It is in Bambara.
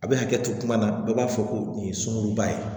A bɛ hakɛ to kuma na bɛɛ b'a fɔ ko nin ye sunkuruba ye